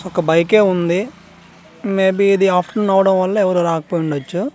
ఒక బైక్ ఏ ఉంది మే బీ ఇది ఆఫ్టర్ నూన్ అవ్వడం వల్ల ఎవ్వరు రాకపోయి ఉండచ్చు .